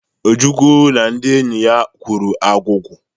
Ojukwu na ndị enyi ya kwuru agwụgwa.